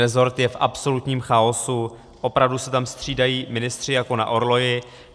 Resort je v absolutním chaosu, opravdu se tam střídají ministři jako na orloji.